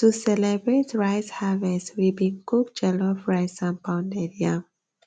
to celebrate rice harvest we bin cook jollof rice and pounded yam